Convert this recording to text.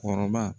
Kɔrɔba